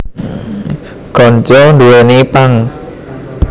Ganja nduwèni pang